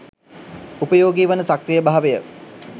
උපයෝගී වන සක්‍රීයභාවය